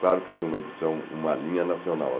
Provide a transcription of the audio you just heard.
Claro que tinha uma edição, uma linha nacional.